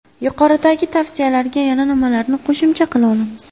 Yuqoridagi tavsiyalarga yana nimalarni qo‘shimcha qila olamiz?